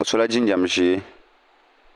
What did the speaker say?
o sola jinjɛm ʒiɛ